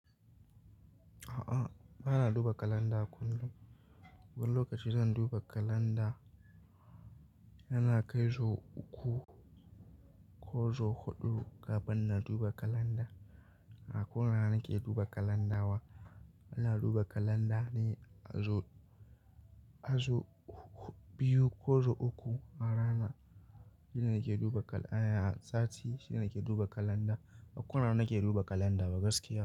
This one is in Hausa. A'a, bana duba kalanda kullum. Wani lokaci zan duba kalanda. Yana kai so uku ko so huɗu kafin na duba kalanda. bA ko ina nake duba kalanda ba. Ana duba kalanda ne a zo, a so biyu ko so uku a rana. Shine ke duba kal-- a sati shine ke duba kalanda. A kullum na ke duba kalanda gaskiya.